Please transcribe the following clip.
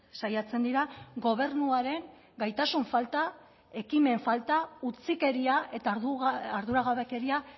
saiatzen dira gobernuaren gaitasun falta ekimen falta utzikeria eta arduragabekeria